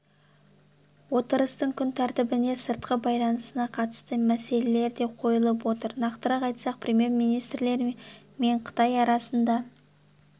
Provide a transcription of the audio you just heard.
отырыстың күн тәртібіне сыртқы байланысына қатысты мәселелер де қойылып отыр нақтырақ айтсақ премьер-министрлер мен қытай арасында